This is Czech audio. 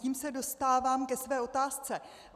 Tím se dostávám ke své otázce.